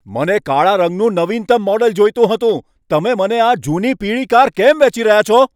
મને કાળા રંગનું નવીનતમ મોડલ જોઈતું હતું. તમે મને આ જૂની પીળી કાર કેમ વેચી રહ્યા છો?